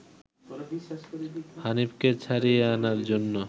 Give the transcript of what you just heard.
হানিফকে ছাড়িয়ে আনার জন্য